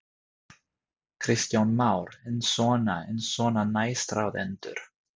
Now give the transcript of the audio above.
Kristján Már: En svona, en svona næstráðendur?